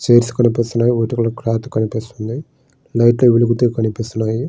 Chairs కనిపిస్తూ ఉన్నాయి. Cloth కనిపిస్తుంది. లైట్ లు వెలుగుతూ కనిపిస్తున్నాయి.